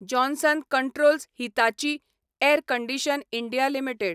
Johnson Controls Hitachi Air Condition. India limited